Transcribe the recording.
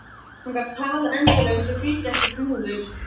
Hann gat talað endalaust og þá þýddi ekkert múður.